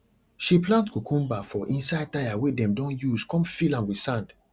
she plant cucumber for inside tyre wey dem don use con fill am with sand